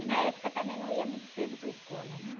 E na época também não ia muito cedo para a escola, né?